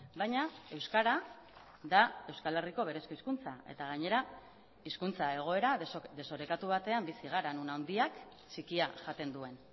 baina euskara da euskal herriko berezko hizkuntza eta gainera hizkuntza egoera desorekatu batean bizi gara non handiak txikia jaten duen